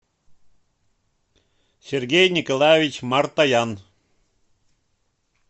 сергей николаевич мартаян